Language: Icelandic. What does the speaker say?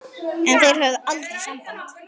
En þeir höfðu aldrei samband